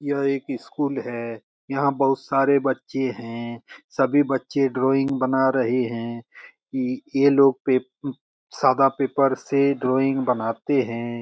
यह एक स्कूल है यहाँ बहुत सारे बच्चे हैं सभी बच्चे ड्राइंग बना रहे हे | ये लोग पेप सादा पेपर से ड्रॉइंग बनाते है ।